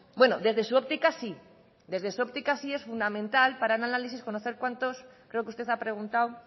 bueno desde su óptica sí desde su óptica sí es fundamental para el análisis conocer cuántos creo que usted ha preguntado